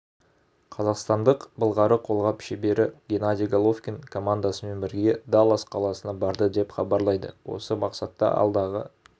қазақстандық былғары қолғап шебері геннадий головкин командасымен бірге даллас қаласына барды деп хабарлайды осы мақсатта алдағы